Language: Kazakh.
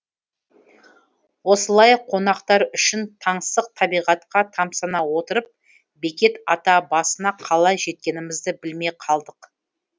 осылай қонақтар үшін таңсық табиғатқа тамсана отырып бекет ата басына қалай жеткенімізді білмей қалдық